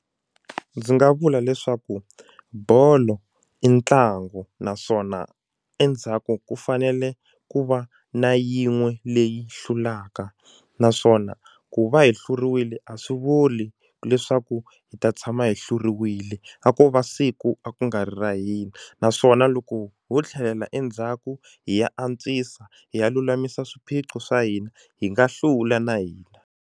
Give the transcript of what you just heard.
Ndzi nga vula leswaku bolo i ntlangu naswona endzhaku ku fanele ku va na yin'we leyi hlulaka naswona ku va hi hluriwile a swi vuli leswaku hi ta tshama hi hluriwile a ko va siku a ku nga ri ra hina naswona loko ho tlhelela endzhaku hi ya antswisa hi ya lulamisa swiphiqo swa hina hi nga hlula na hina.